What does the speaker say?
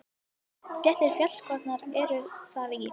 Sléttir fjallskollar eru þar í